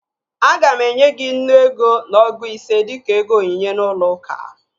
Aga m enye gị nnu ego na ọgụ ise dịka ego onyinye n'ụlọ uka